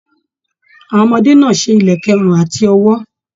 Àwọn ọmọdé náà ṣe ìlẹ̀kẹ̀ ọrùn àti ọwọ́.